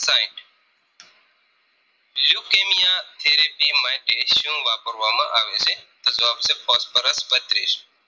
therapy માટે શું વાપરવામાં આવે છે. તો જવાબ છે Phosphorus બત્રીસ